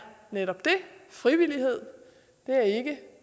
frivillighed er ikke